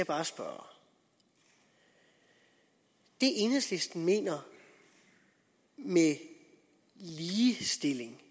bare spørge det enhedslisten mener med ligestilling